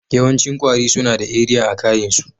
Yawancin kwari suna da eriya a kain' su.